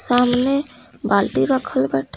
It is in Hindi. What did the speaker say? सामने बाल्टी रखल बाटे।